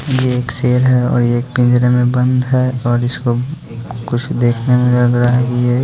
ये एक शेर है और ये एक पिंजरे में बंद है और इसको कुछ देखने में लग रहा है कि ये--